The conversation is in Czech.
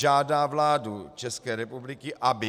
Žádá vládu České republiky, aby